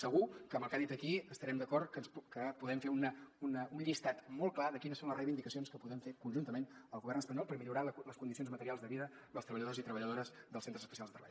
segur que amb el que ha dit aquí devem estar d’acord que podem fer un llistat molt clar de quines són les reivindicacions que podem fer conjuntament al govern espanyol per millorar les condicions materials de vida dels treballadors i treballadores dels centres especials de treball